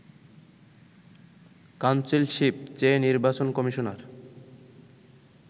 councilship চেয়ে নির্বাচন commissioner